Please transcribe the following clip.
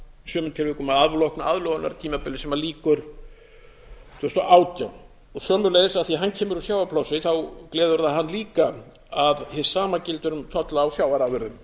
sumum tilvikum að afloknu aðlögunartímabili sem lýkur tvö þúsund og átján sömuleiðis af því að hann kemur úr sjávarplássi gleður það hann líka að hið sama gildir um tolla á sjávarafurðum